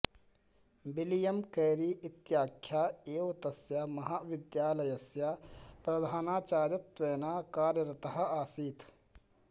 William Carey इत्याख्यः एव तस्य महाविद्यालस्य प्रधानाचार्यत्वेन कार्यरतः आसीत्